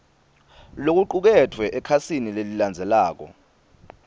lokucuketfwe ekhasini lelilandzelako